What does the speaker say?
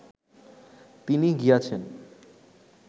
তিনি গিয়াছেন